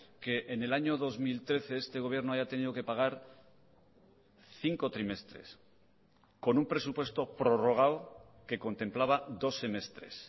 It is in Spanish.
que en el año dos mil trece este gobierno haya tenido que pagar cinco trimestres con un presupuesto prorrogado que contemplaba dos semestres